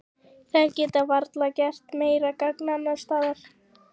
Þær geta varla gert meira gagn annars staðar.